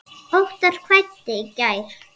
Óttar kvaddi í gær.